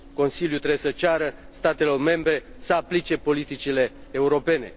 Consiliul trebuie să ceară statelor membre să aplice politicile europene.